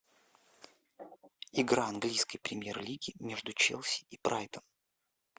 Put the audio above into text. игра английской премьер лиги между челси и брайтон